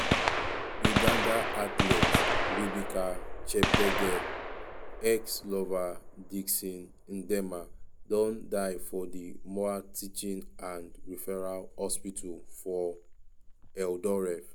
uganda athlete rebecca cheptegei ex-lover dickson ndiema don die for di moi teaching and referral hospital for eldoret.